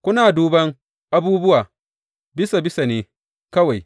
Kuna duban abubuwa bisa bisa ne kawai.